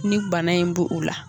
Ni bana in b' u la.